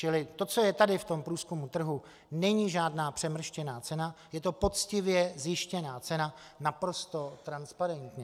Čili to, co je tady v tom průzkumu trhu, není žádná přemrštěná cena, je to poctivě zjištěná cena, naprosto transparentní.